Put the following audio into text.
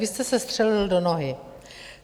Vy jste se střelil do nohy.